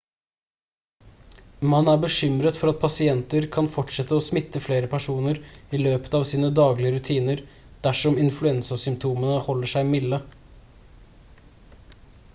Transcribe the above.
man er bekymret for at pasienter kan fortsette å smitte flere personer i løpet av sine daglige rutiner dersom influensasymptomene holder seg milde